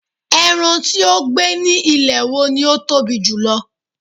eran ti o gbe ni ilẹ̀ wo ni o Tobi jùlọ